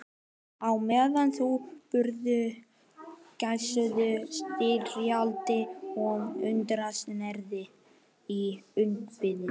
Á meðan þau borðuðu geisuðu styrjaldir og hungursneyðir í útvarpinu.